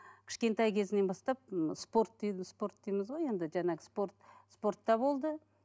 кішкентай кезінен бастап м спорт спорт дейміз ғой енді жаңағы спорт спортта болды